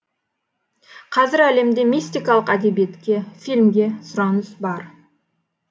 қазір әлемде мистикалық әдебиетке фильмге сұраныс бар